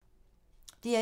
DR1